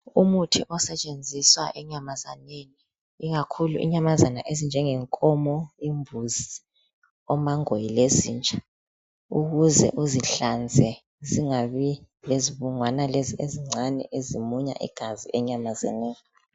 Umuthi osetshenziswa enyamazaneni, ikakhulu inyamazana ezinjengenkomo, imbuzi, omangoye lezinja ukuze uzihlanze zingabi lezibungwana lezi ezincane ezimunya igazi enyamazaneni.